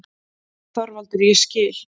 ÞORVALDUR: Ég skil.